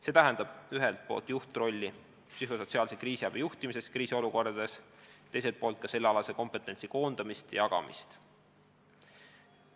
See tähendab ühelt poolt juhtrolli psühhosotsiaalse kriisiabi juhtimises kriisiolukordades, teiselt poolt ka sellealase kompetentsi koondamist ja jagamist.